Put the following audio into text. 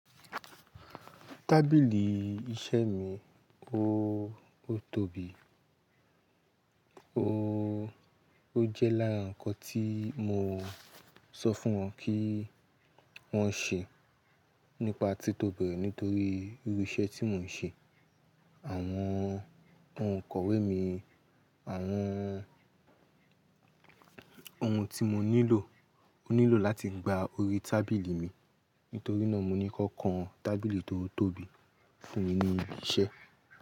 Tábìlì iṣẹ́ mi, ó, ó tóbi. Ó, ó jẹ́ láàrín nǹkan tí mo sọ fún wọn kí wọ́n ṣe nípa tí tóbi rẹ̀ nítorí irú iṣẹ́ tí mò ń ṣe. Àwọn, oun ikọ̀wé mi, àwọn ohun tí mo nílò, o nílò láti gba orí tábìlì mi. Nítorí náà mo ní kọ́, kan tábìlì tó tóbi fún mi ní ilé iṣẹ́.